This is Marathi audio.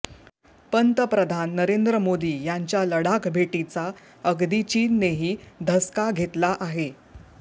पंतप्रधान नरेंद्र मोदी यांच्या लडाख भेटीचा अगदी चीननेही धसका घेतला आहे